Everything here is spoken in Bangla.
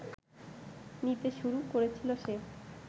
নিতে শুরু করেছিল সে